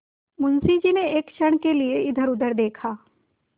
मुंशी जी ने एक क्षण के लिए इधरउधर देखा